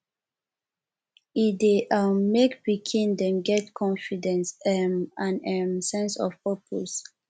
e dey um make pikin dem get confidence um and um sense of purpose